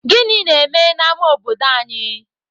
Gịnị na-eme n'ama obodo anyị?